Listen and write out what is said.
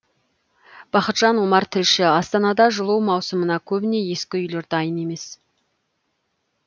бақытжан омар тілші астанада жылу маусымына көбіне ескі үйлер дайын емес